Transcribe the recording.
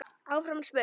Áfram er spurt.